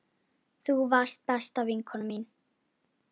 Þú varst besta vinkona mín.